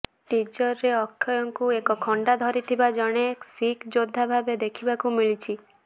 ଟିଜରରେ ଅକ୍ଷୟଙ୍କୁ ଏକ ଖଣ୍ଡା ଧରିଥିବା ଜଣେ ଶିଖ୍ ଯୋଦ୍ଧା ଭାବେ ଦେଖିବାକୁ ମିଳିଛି